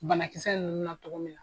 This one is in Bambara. Banakisɛ ninnu na cogo min na.